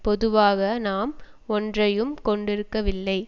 பொதுவாக நாம் ஒன்றையும் கொண்டிருக்கவில்லை